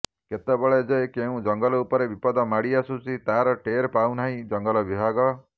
କେତେବେଳେ ଯେ କେଉଁ ଜଙ୍ଗଲ ଉପରେ ବିପଦ ମାଡି ଆସୁଛି ତାହାର ଟେର ପାଉନାହିଁ ଜଙ୍ଗଲ ବିଭାଗ